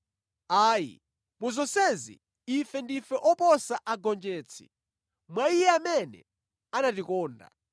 Ayi, mu zonsezi ife ndife oposa agonjetsi mwa Iye amene anatikonda.